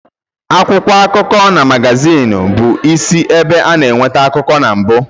Akwụkwọ akụkọ na magazin bụ isi ebe a na-enweta akụkọ na mbu.